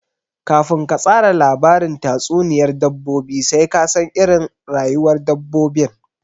Kafin ka tsara labarin tatsuniyar dabbobi sai ka san iirin rayuwar dabbobin